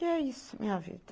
E é isso, minha vida.